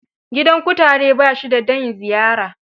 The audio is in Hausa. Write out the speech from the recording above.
Gidan kutare ba shi da dain ziyara.